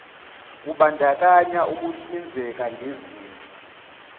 kubandakanya ukuhlinzeka ngezinto